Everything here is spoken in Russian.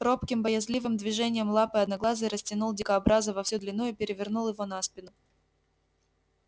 робким боязливым движением лапы одноглазый растянул дикобраза во всю длину и перевернул его на спину